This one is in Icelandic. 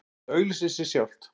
Þetta auglýsir sig sjálft